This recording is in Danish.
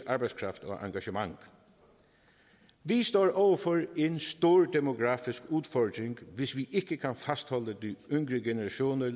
arbejdskraft og engagement vi står overfor en stor demografisk udfordring hvis vi ikke kan fastholde de yngre generationer